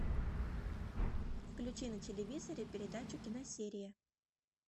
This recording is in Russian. включи на телевизоре передачу киносерия